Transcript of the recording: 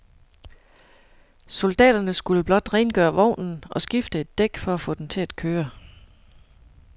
Soldaterne skulle blot rengøre vognen og skifte et dæk for at få den til at køre.